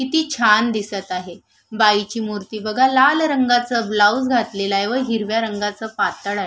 किती छान दिसत आहे बाई ची मूर्ती बघा लाल रंगाच ब्लाऊज घातलेल आहे व हिरव्या रंगाच पातळ आहे.